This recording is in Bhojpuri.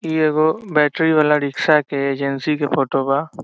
इ एगो बैटरी वाला रिक्शा के एजेंसी के फोटो बा।